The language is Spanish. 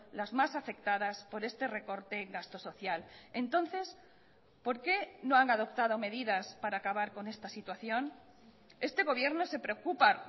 las más afectadas por este recorte en gasto social entonces por qué no han adoptado medidas para acabar con esta situación este gobierno se preocupa